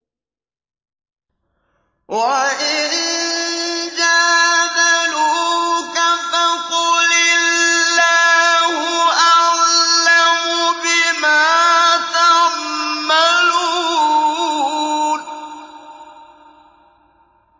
وَإِن جَادَلُوكَ فَقُلِ اللَّهُ أَعْلَمُ بِمَا تَعْمَلُونَ